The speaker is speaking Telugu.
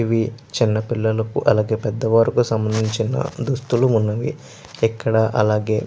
ఇవి చిన్న పిల్లకి అలాగే పెద్ద వాలకి సమందించిన దుస్తులు వున్నవి. ఇక్కడ అలాగే --